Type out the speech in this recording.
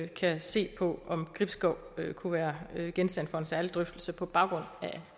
kan se på om gribskov kunne være genstand for en særlig drøftelse på baggrund af